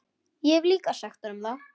Hef líka sagt honum það.